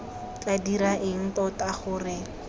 tla dira eng tota gore